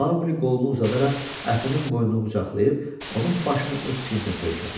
Maqli qolunu uzadaraq əfinin boynunu qucaqlayıb, onun başını öz çiynində söykədi.